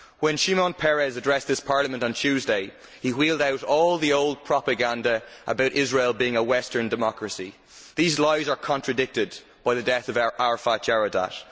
When Shimon Peres addressed this Parliament on Tuesday, he wheeled out all the old propaganda about Israel being a Western democracy. These lies are contradicted by the death of Arafat Jaradat.